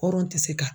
Hɔrɔn tɛ se ka